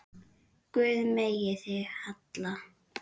Guð geymi þig, Halli.